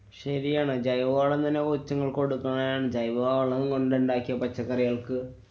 ശരിയാണ്. ജൈവവളം തന്നെ കൊച്ചുങ്ങള്‍ക്ക്‌ കൊടുക്കയാണ്, ജൈവവളം കൊണ്ടുണ്ടാക്കിയ പച്ചക്കറികള്‍ക്ക്